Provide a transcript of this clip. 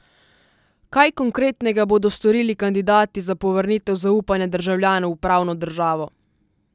Kaj konkretnega bodo storili kandidati za povrnitev zaupanja državljanov v pravno državo?